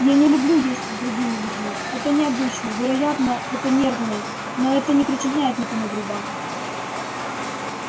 я не люблю есть с другими людьми это необычно вероятно это нервное но это не причиняет никому вреда